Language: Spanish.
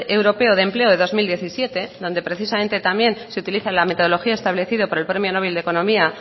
europeo de empleo de dos mil diecisiete donde precisamente también se utiliza la metodología establecida por el premio nobel de economía